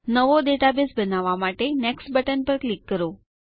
નવો ડેટાબેઝ બનાવવા માટે નેક્સ્ટ બટન પર ક્લિક કરો